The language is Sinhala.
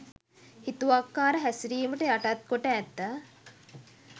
හිතුවක්කාර හැසිරිමට යටත්කොට ඇත.